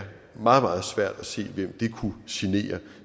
meget meget svært at se hvem det kunne genere